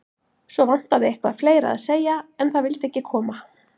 Svo vantaði eitthvað fleira að segja, en það vildi ekki koma.